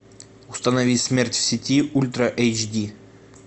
установи смерть в сети ультра эйч ди